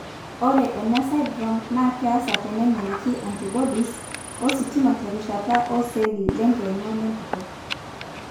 Ore enasindirom naa keasa teneng'eliki iantibodies ioshot ositima terishata oceelli lenkeene olempito.